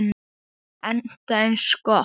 Enda eins gott.